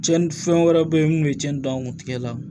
Cɛnni fɛn wɛrɛ be yen mun be cɛnnin dan kun tigɛ la